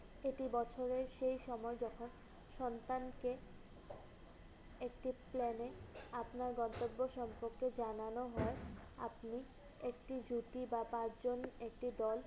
এটি বছরের সেই সময় যখন সন্তানকে একটি plan এ আপনার গন্তব্য সম্পর্কে জানানো হয়। আপনি একটি জুটি বা পাঁচজন একটি দল